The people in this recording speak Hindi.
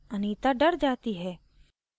anita डर जाती है